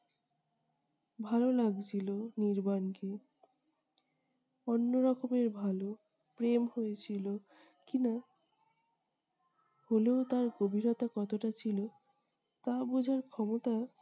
ভাল লাগছিলো নির্বাণকে, অন্য রকমের ভালো। প্রেম হয়েছিল কি-না? হলেও তার গভীরতা কতটা ছিল? তা বুঝার ক্ষমতা